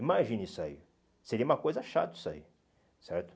Imagina isso aí, seria uma coisa chata isso aí, certo?